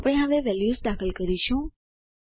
આપણે હવે વેલ્યુઝ દાખલ કરીશું